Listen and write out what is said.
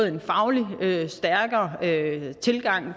en faglig stærkere tilgang